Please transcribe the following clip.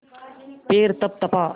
पैर तपतपा